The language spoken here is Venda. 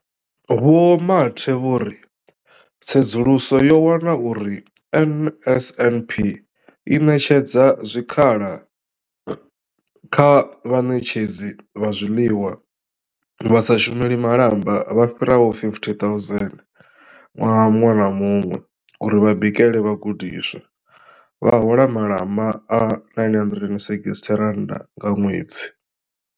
Vho Mathe vho ri, tsedzuluso yo wana uri NSNP i ṋetshedza zwikhala kha vhaṋetshedzi vha zwiḽiwa vha sa shumeli malamba vha fhiraho 50 000 ṅwaha muṅwe na muṅwe uri vha bikele vhagudiswa, vha hola malamba a R960 nga ṅwedzi.